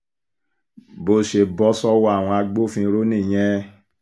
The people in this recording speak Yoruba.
bó ṣe bọ́ sọ́wọ́ àwọn agbófinró nìyẹn